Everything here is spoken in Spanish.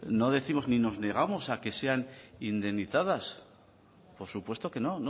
no décimos ni nos negamos a que sean indemnizadas por supuesto que no